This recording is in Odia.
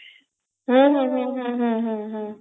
ହୁଁ ହୁଁ ହୁଁ ହୁଁ ହୁଁ